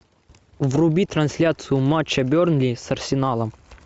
вруби трансляцию матча бернли с арсеналом